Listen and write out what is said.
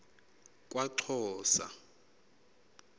kwaxhosa